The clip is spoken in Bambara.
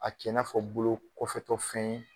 A kɛ i n'a fɔ bolo kɔfɛtɔ fɛn ye